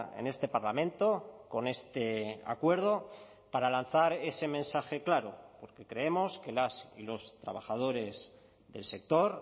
en este parlamento con este acuerdo para lanzar ese mensaje claro porque creemos que las y los trabajadores del sector